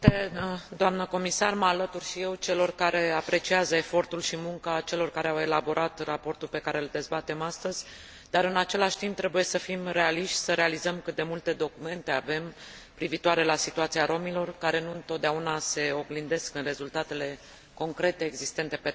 Mă alătur și eu celor care apreciază efortul și munca celor care au elaborat raportul pe care îl dezbatem astăzi, dar, în același timp, trebuie să fim realiști, să realizăm cât de multe documente avem privitoare la situația rromilor, care nu întotdeauna se oglindesc în rezultatele concrete existente pe teren.